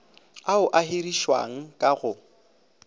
ao a hirišiwang ka go